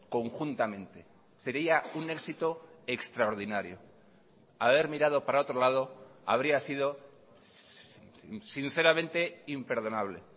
conjuntamente sería un éxito extraordinario haber mirado para otro lado habría sido sinceramente imperdonable